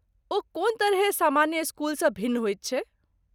ओ कोन तरहेँ सामान्य स्कूलसँ भिन्न होइत छै?